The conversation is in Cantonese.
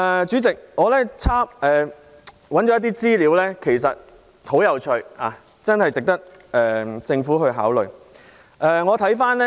主席，我曾翻查資料，發現有些資料很有趣，值得政府考慮。